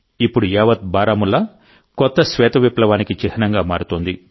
ఇప్పుడు యావత్ బారాముల్లా కొత్త శ్వేత విప్లవానికి చిహ్నంగా మారుతోంది